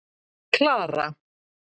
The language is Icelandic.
Klara